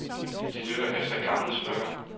De dykker efter gamle smykker.